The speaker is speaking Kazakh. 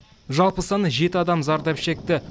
жалпы саны жеті адам зардап шекті